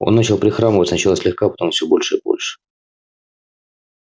он начал прихрамывать сначала слегка потом все больше и больше